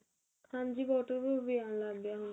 ਹਾਂਜੀ water proof ਵੀ ਆਣ ਲੱਗ ਗਿਆ ਹੁਣ ਤਾਂ